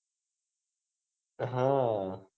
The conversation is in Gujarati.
હા